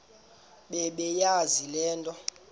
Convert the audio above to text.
bebeyazi le nto